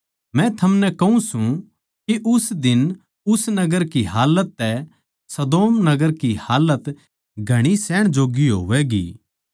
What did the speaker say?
मै थमनै कहूँ सूं के उस दिन उस नगर हालत घणी सहण जोग्गी होवैगी